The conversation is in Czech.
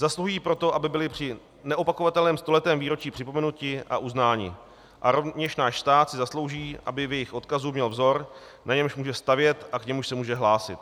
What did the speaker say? Zasluhují proto, aby byli při neopakovatelném stoletém výročí připomenuti a uznáni, a rovněž náš stát si zaslouží, aby v jejich odkazu měl vzor, na němž může stavět a k němuž se může hlásit.